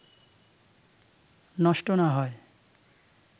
নষ্ট না হয়